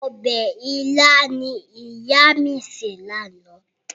Ọbẹ̀ ilá ni ìyá mi sè lánàá.